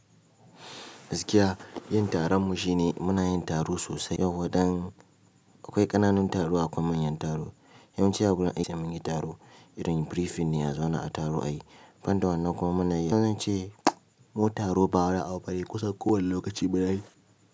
Gaskiya yin taron mu shine muna yin taro sosai, yauwa dan akwai ƙananun taro akwai manyan taro. Yawanci a wurin aiki mun yi taro irin briefing ne a zauna a taro ayi. Banta wannan kuma munayi ko ince mu taro ba wani abu bane kusan kowane lokaci muna yi.